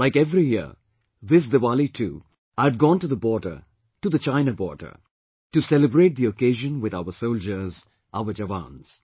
Like every year, this Diwali too, I had gone to the border, to the China border, to celebrate the occasion with our soldiers, our jawans